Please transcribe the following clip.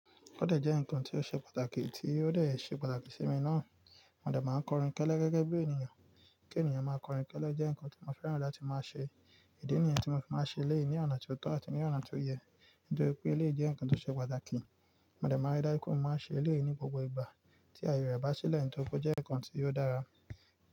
O dẹ jẹ́ nǹkan tí ó ṣe pàtàkì tí ó dẹ̀ ṣe pàtàkì sí mi náà. Mọ dẹ̀ máa ń kọrin kẹ́lẹ́ gẹ́gẹ́ bí ènìyàn, kí ènìyàn máa kọrin kẹ́lẹ́ jẹ́ nǹkan tí mo fẹ́ràn láti máa ṣe. Idi nìyẹn tí mo fi máa ń ṣe eléyìí ní ọ̀nà tí ó tọ́ àti ní ọ̀nà tí ó yẹ. Nítorí pé ilé jẹ́ nǹkan tí ó ṣe pàtàkì. Mọ̀dẹ̀ máa ń rí dájú pé mo máa ń ṣe eléyìí ni gbogbo ìgbà tí àyè rẹ̀ bá sílẹ̀ nítorí pé ó jẹ́ nǹkan tí ó dára.